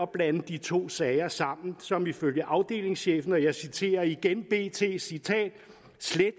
blande de to sager sammen som ifølge afdelingschefen og jeg citerer igen bt slet